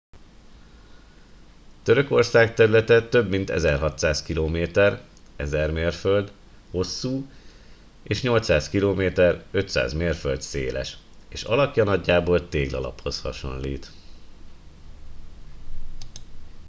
törökország területe több mint 1600 km 1000 mérföld hosszú és 800 km 500 mérföld széles és alakja nagyjából téglalaphoz hasonlít